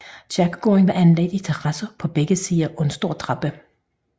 Kirkegården var anlagt i terrasser på begge sider af en stor trappe